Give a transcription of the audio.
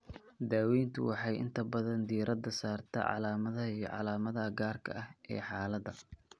Daaweyntu waxay inta badan diiradda saartaa calaamadaha iyo calaamadaha gaarka ah ee xaaladda.